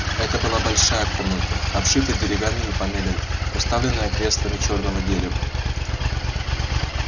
это была большая комната обшитая деревянными панелями уставленная креслами чёрного дерева